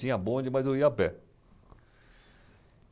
Tinha bonde, mas eu ia a pé.